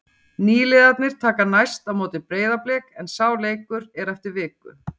Nýliðarnir taka næst á móti Breiðablik en sá leikur er eftir viku.